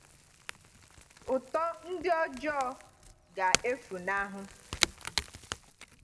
“Ụtọ ndị ọjọọ ga-efunahụ.”